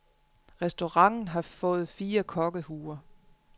Restauranten har fået fire kokkehuer.